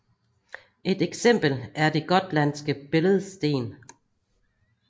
Et eksempel er det gotlandske billedsten